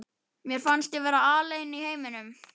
Mér fannst ég vera alein í heiminum.